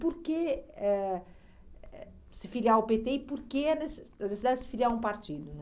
Por que ãh ãh se filiar ao pê tê e por que a neces a necessidade de se filiar a um partido né?